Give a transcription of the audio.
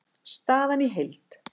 Staðan í heild